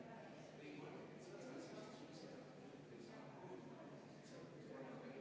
Austatud kolleegid Reformierakonnast ja Keskerakonnast!